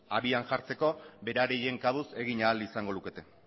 abian jartzeko beraien kabuz egin ahal izango lukete